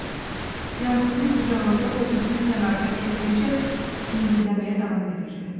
Yazığı qucağımda hovuzun kənarına gətirincə zingildəməyə davam edirdi.